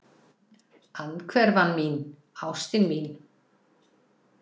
Andhverfan mín, ástin mín.